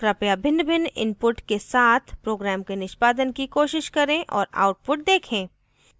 कृपया भिन्नभिन्न inputs के साथ program के निष्पादन की कोशिश करें और output देखें